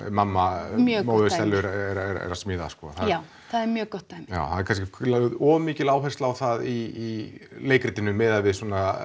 mamma Stellu er að smíða já það er mjög gott dæmi það er kannski lögð of mikil áhersla á það í leikritinu miðað við